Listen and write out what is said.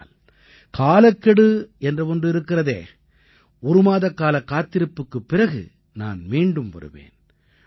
ஆனால் காலக்கெடு என்ற ஒன்று இருக்கிறதே ஒரு மாதக்காலக் காத்திருப்புக்குப் பிறகு நான் மீண்டும் வருவேன்